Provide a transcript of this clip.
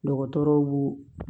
Dɔgɔtɔrɔw b'u